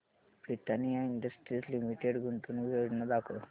Britannia Industries Limited गुंतवणूक योजना दाखव